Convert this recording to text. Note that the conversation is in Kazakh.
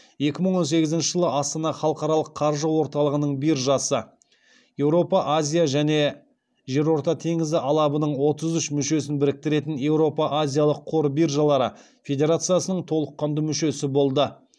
екі мың он сегізінші жылы астана халықаралық қаржы орталығының биржасы еуропа азия және жерорта теңізі алабының отыз үш мүшесін біріктіретін еуропа азиялық қор биржалары федерациясының толыққанды мүшесі болды